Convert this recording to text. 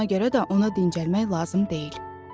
Ona görə də ona dincəlmək lazım deyil.